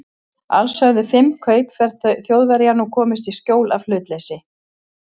Alls höfðu fimm kaupför Þjóðverja nú komist í skjól af hlutleysi